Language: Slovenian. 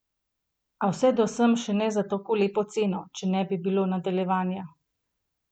A vse do sem še ne za tako lepo oceno, če ne bi bilo nadaljevanja!